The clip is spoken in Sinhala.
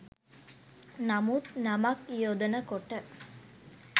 නමුත් නමක් යොදනකොට